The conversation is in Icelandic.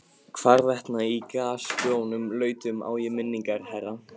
Hvarvetna í grasgrónum lautum á ég minningar, herra.